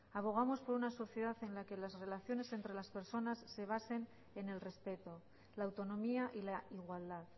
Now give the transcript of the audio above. abogamos por una sociedad en la que las relaciones entre las personas se basen en el respeto la autonomía y la igualdad